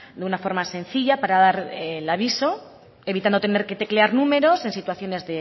de una forma sencilla para dar el aviso evitando tener que teclear números en situaciones